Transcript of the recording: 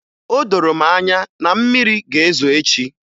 O doro m anya na mmiri ga-ezo echi